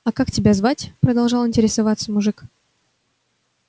а как тебя звать продолжал интересоваться мужик